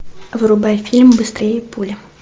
врубай фильм быстрее пули